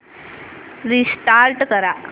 restart कर